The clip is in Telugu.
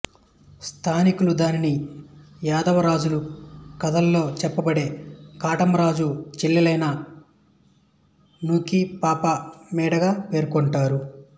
స్థానికులు దానిని యాదవరాజుల కథలలో చెప్పబడే కాటమరాజు చెల్లెలైన నూకిపాప మేడగా పేర్కొంటారు